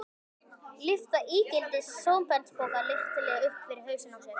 Lyfta ígildi sementspoka léttilega upp fyrir hausinn á sér.